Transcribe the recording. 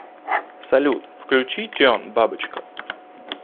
салют включи тион бабочка